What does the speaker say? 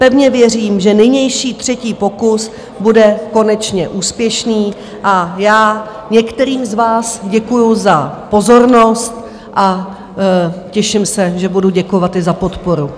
Pevně věřím, že nynější třetí pokus bude konečně úspěšný, a já některým z vás děkuji za pozornost a těším se, že budu děkovat i za podporu.